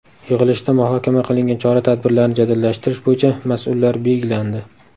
Yig‘ilishda muhokama qilingan chora-tadbirlarni jadallashtirish bo‘yicha mas’ullar belgilandi.